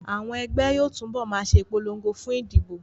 Àwọn ẹgbẹ́ yóò túbọ̀ ma ṣe ìpolongo fún ìdìbò